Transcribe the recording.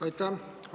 Aitäh!